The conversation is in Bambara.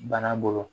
Bana bolo